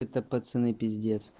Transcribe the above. это пацаны пиздец